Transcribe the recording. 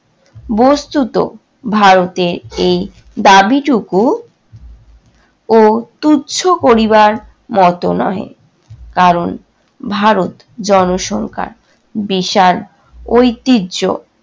বস্তুত ভারতের এই দাবীটুকু ও তুচ্ছ করিবার মতো নহে, কারণ ভারত জনসংখ্যায় বিশাল ঐতিহ্য